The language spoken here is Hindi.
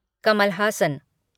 कमल हासन